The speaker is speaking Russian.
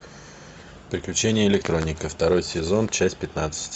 приключения электроника второй сезон часть пятнадцать